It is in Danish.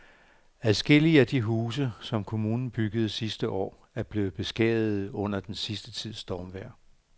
Adskillige af de huse, som kommunen byggede sidste år, er blevet beskadiget under den sidste tids stormvejr.